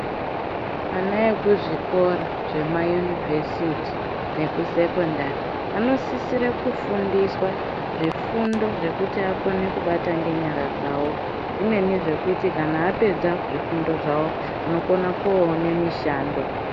Ana kuzvikora zve mayunivhesiti neekusekondari anosisire kufundiswa zvifundo zvekuti akone kubata nenyara dzavo zvimweni zvekuti kana apedza zvifundo zvavo vanokone kunoone mishando.